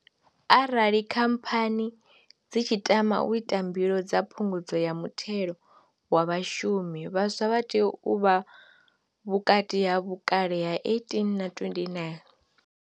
Arali Khamphani dzi tshi tama u ita mbilo dza Phungudzo ya Muthelo wa Vhashumi, vhaswa vha tea u vha vhukati ha vhukale ha 18 na 29.